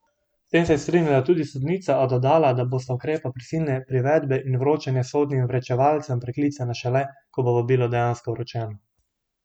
S tem se je strinjala tudi sodnica, a dodala, da bosta ukrepa prisilne privedbe in vročanja s sodnim vročevalcem preklicana šele, ko bo vabilo dejansko vročeno.